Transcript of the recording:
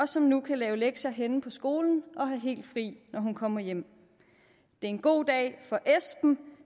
som nu kan lave lektier henne på skolen og have helt fri når hun kommer hjem det er en god dag for esben